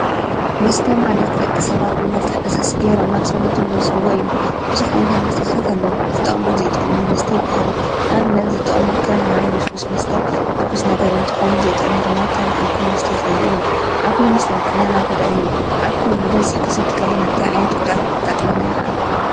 መስተ ማለት ንደቂ ሰባት በመልክዕ ፈሳሲ ገይሮም ናብ ሰውነቶም ዝወስዱዎ እዩ። ብዙሓት ዓይነታት መስተታት ኣለው። ዝጠቅሙን ዘይጠቅሙን መስተ ይበሃሉ ።ንኣብነት ፦ዝጠቅሙ ከም ማይ፣ ልስሉስ መስተ፣ ትኩስ ነገር እንትኮኑ ዘይጠቅሙ ድማ ኣልኮል መስተ ዝበሉ እዩም። ኣልኮል መስተ ንጥዕናና ጎዳኢ እዩ። ኣልኮል ብበዝሒ ክንሰቲ እንተለና እንታይ ዓይነት ጉድኣት ከጋጥመና ይክእል?